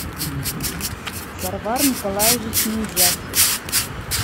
сарвар николаевич миндзяк